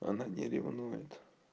она не ревнует